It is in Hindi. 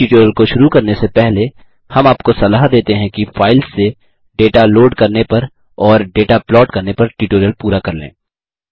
इस ट्यूटोरियल को शुरू करने से पहले हम आपको सलाह देते हैं कि फाइल्स से डेटा लोड करने पर और डेटा प्लॉट करने पर ट्यूटोरियल पूरा कर लें